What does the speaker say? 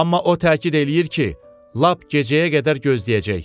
Amma o təkid eləyir ki, lap gecəyə qədər gözləyəcək.